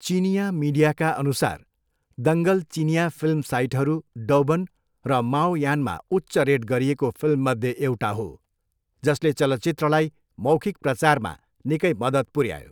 चिनियाँ मिडियाका अनुसार दङ्गल चिनियाँ फिल्म साइटहरू डौबन र माओयानमा उच्च रेट गरिएको फिल्ममध्ये एउटा हो, जसले चलचित्रलाई मौखिक प्रचारमा निकै मदत् पुऱ्यायो।